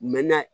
Mɛ na